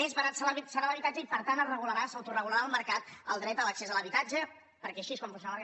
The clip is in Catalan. més barat serà l’habitat·ge i per tant es regularà s’autoregularà el mercat el dret a l’accés a l’habitatge perquè així és com funci·ona el mercat